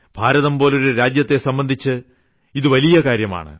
ഭാരതം പോലൊരു രാജ്യത്തെ സംബന്ധിച്ച് ഇത് വളരെ വലിയ കാര്യമാണ്